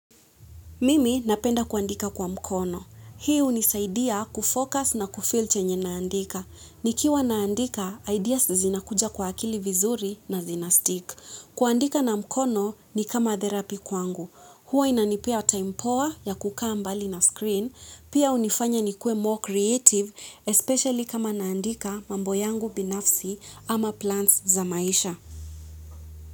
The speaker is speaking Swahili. Mimi napenda kuandika kwa mkono hii hunisaidia kufocus na kufeel chenye naandika. Nikiwa naandika ideas zinakuja kwa akili vizuri na zinastick kuandika na mkono ni kama therapy kwangu. Huwa inanipea time poa ya kukaa mbali na screen. Pia hunifanya nikuwe more creative, especially kama naandika mambo yangu binafsi ama plans za maisha.